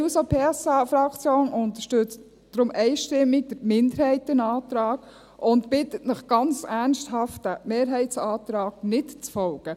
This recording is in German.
Die SP-JUSO-PSA-Fraktion unterstützt deshalb einstimmig den Minderheitsantrag und bittet Sie ganz ernsthaft, dem Mehrheitsantrag nicht zu folgen.